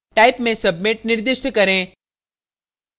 type में submit निर्दिष्ट करें